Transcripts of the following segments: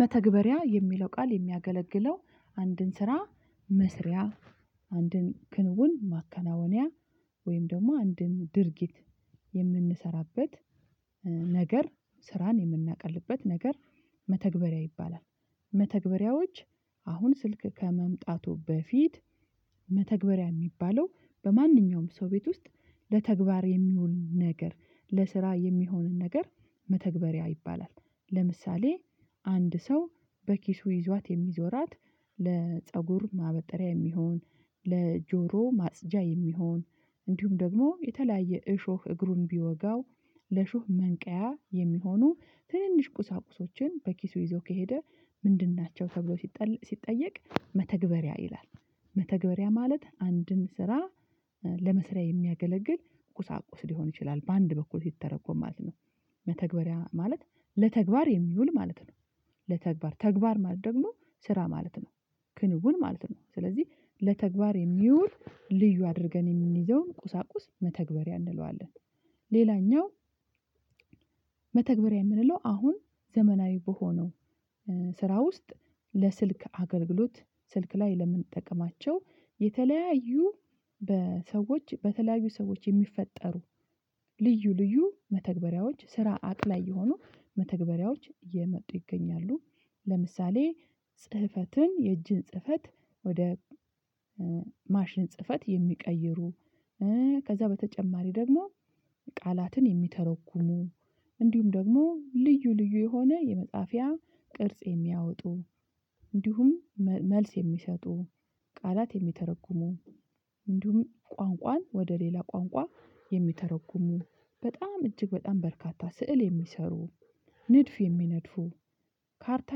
መተግበሪያ የሚለው ቃል የሚያገለግለው አንድን ስራ መስሪያ አንድን ክንውን ማከናወንያ ወይም ደግሞ አንድን ድርጊት የምንሰራበት ነገር ስራን የምናቀልበት ነገር መተግበሪያ ይባላል። መተግበሪያዎች አሁን ስልክ ከመምጣቱ በፊት መተግበሪያ የሚባለው በማንኛውም ሰው ቤት ውስጥ ለተግባር የሚውል ነገር ለስራ የሚሆንን ነገር መተግበሪያ ይባላል ለምሳሌ አንድ ሰው በኪሱ ይዟት የሚዞራት ለፀጉር ማበጠሪያ የሚሆን ለጆሮ ማጽጃ የሚሆን እንዲሁም ደግሞ የተለያየ እሾህ እግሩን ቢወጋው ለሾህ መንቀያ የሚሆኑ ትንንሽ ቁሳቁሶችን በኪሱ ይዞ ከሄደ ምንድን ናቸው ተብሎ ሲጠየቅ መተግበሪያ ይላል? መተግበሪያ ማለት አንድን ስራ ለመስሪያ የሚያገለግል ቁሳቁስ ሊሆን ይችላል በአንድ በኩል ሲተረጎም ማለት ነው። መተግበሪያ ማለት ለተግባር የሚውል ማለት ነው። ለተግባር ተግባር ማለት ደግሞ ስራ ማለት ነው። ክንውን ማለት ነው ስለዚህ ለተግባር የሚውል ልዩ አድርገን የምንይዘውን ቁሳቁስ መተግበሪያ እንለዋለን። ሌላኛው መተግበሪያ የምንለው አሁን ዘመናዊ በሆነው ስራ ውስጥ ለስልክ አገልግሎት ስልክ ላይ ለምንጠቀማቸው የተለያዩ በሰዎች በተለያዩ ሰዎች የሚፈጠሩ ልዩ ልዩ መተግበሪያዎች ስራ አቅላይ የሆኑ መተግበሪያዎች እየመጡ ይገኛሉ። ለምሳሌ ጽህፈትን የእጅን ጽህፈት ወደ ማሽን ጽህፈት የሚቀይሩ ከዛ በተጨማሪ ደግሞ ቃላትን የሚተረኩሙ እንዲሁም ደግሞ ልዩ ልዩ የሆነ የመጽሐፍያ ቅርጽ የሚያወጡ እንዲሁም መልስ የሚሰጡ ቃላት የሚተረጉሙ እንዲሁም ቋንቋን ወደ ሌላ ቋንቋ የሚተረጉሙ በጣም እጅግ በጣም በርካታ ስዕል የሚሰሩ ንድፍ የሚነድፉ ካርታ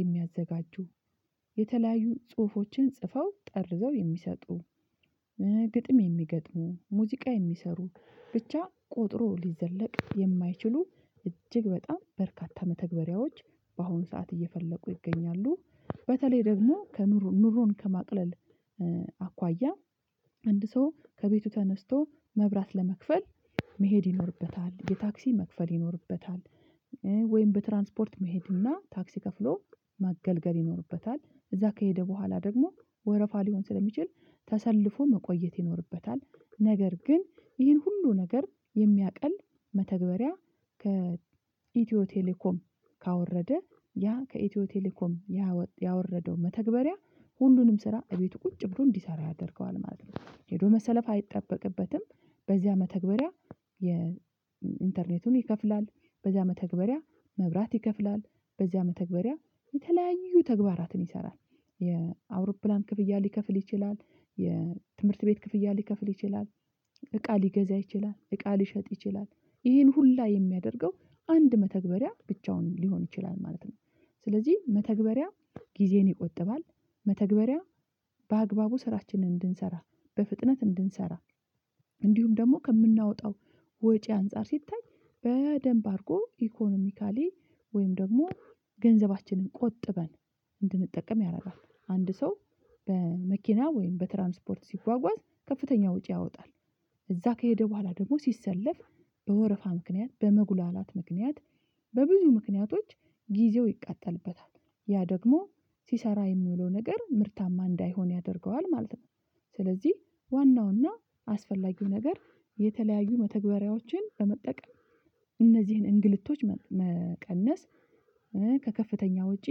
የሚያዘጋጁ የተለያዩ ጽሁፎችን ጽፈው ጠርዘው የሚሰጡ ግጥም የሚገጥሙ ሙዚቃ የሚሰሩ ብቻ ቆጥሮ ሊዘለቅ የማይችሉ እጅግ በጣም በርካታ መተግበሪያዎች በአሁኑ ሰዓት እየፈለቁ ይገኛሉ። በተለይ ደግሞ ከኑሮ ኑሮን ከማቅለል አኳያ አንድ ሰው ከቤቱ ተነስቶ መብራት ለመክፈል መሄድ ይኖርበታል የታክሲ መክፈል ይኖርበታል ወይም በትራንስፖርት መሄድ እና ታክሲ ከፍሎ ማገልገል ይኖርበታል። እዛ ከሄደ በኋላ ደግሞ ወረፋ ሊሆን ስለሚችል ተሰልፎ መቆየት ይኖርበታል ነገር ግን ይህን ሁሉ ነገር የሚያቀል መተግበሪያ ከኢትዮ ቴሌኮም ካወረደ ያ ከኢትዮ ቴሌኮም ያወረደው መተግበሪያ ሁሉንም ስራ እቤቱ ቁጭ ብሎ እንዲሰራ ያደርገዋል ማለት ነው። ሄዶ መሰለፍ አይጠበቅበትም። በዚያ መተግበሪያ የኢንተርኔቱን ይከፍላል በዚያ መተግበሪያ መብራት ይከፍላል በዚያ መተግበሪያ የተለያዩ ተግባራትን ይሰራል የአውሮፕላን ክፍያ ሊከፍል ይችላል የትምህርት ቤት ክፍያ ሊከፍል ይችላል እቃ ሊገዛ ይችላል እቃ ሊሸጥ ይችላል ይሄን ሁላ የሚያደርገው አንድ መተግበሪያ ብቻውን ሊሆን ይችላል ማለት ነው። ስለዚህ መተግበሪያ ጊዜን ይቆጥባል መተግበሪያ በአግባቡ ስራችንን እንድንሰራ በፍጥነት እንድንሰራ እንዲሁም ደግሞ ከምናወጣው ወጪ አንፃር ሲታይ በደንብ አድርጎ ኢኮኖሚካሊ ወይም ደግሞ ገንዘባችንን ቆጥበን እንድንጠቀም ያደርጋል። አንድ ሰው በመኪና ወይም በትራንስፖርት ሲጓጓዝ ከፍተኛ ወጪ ያወጣል እዛ ከሄደ በኋላ ደግሞ ሲሰለፍ በወረፋ ምክንያት በመጉላላት ምክንያት በብዙ ምክንያቶች ጊዜው ይቃጠልበታል ያ ደግሞ ሲሰራ የሚውለው ነገር ምርታማ እንዳይሆን ያደርገዋል ማለት ነው። ስለዚህ ዋናውና አስፈላጊው ነገር የተለያዩ መተግበሪያዎችን በመጠቀም እነዚህን እንግልቶች መቀነስ ከከፍተኛ ወጪ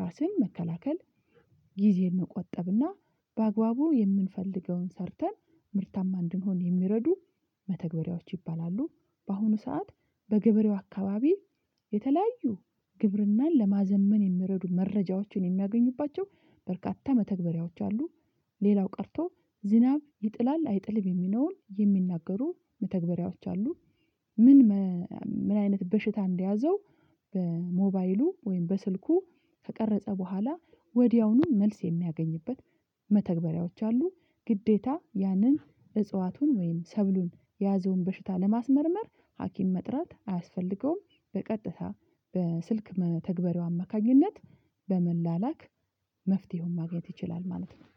ራስን መከላከል ጊዜን መቆጠብና በአግባቡ የምንፈልገውን ሰርተን ምርታማ እንድንሆን የሚረዱ መተግበሪያዎች ይባላሉ። በአሁኑ ሰዓት በገበሬው አካባቢ የተለያዩ ግብርናን ለማዘመን የሚረዱ መረጃዎችን የሚያገኙባቸው በርካታ መተግበሪያዎች አሉ። ሌላው ቀርቶ ዝናብ ይጥላል አይጥልም የሚነውን የሚናገሩ መተግበሪያዎች አሉ። ምን ምን አይነት በሽታ እንደያዘው በሞባይሉ ወይም በስልኩ ከቀረጸ በኋላ ወዲያውኑ መልስ የሚያገኝበት መተግበሪያዎች አሉ። ግዴታ ያንን እጽዋቱን ወይም ሰብሉን የያዘውን በሽታ ለማስመርመር ሀኪም መጥራት አያስፈልገውም በቀጥታ በስልክ ተግባራዊ አማካኝነት በመላላክ መፍትሄውን ማግኘት ይችላል ማለት ነው።